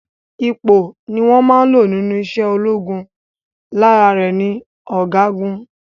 Ipò ni wón máa n lò nínú ise ológun, lára rè ni ọ̀gágun